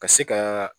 Ka se ka